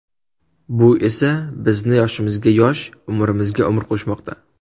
Bu esa bizni yoshimizga yosh, umrimizga umr qo‘shmoqda.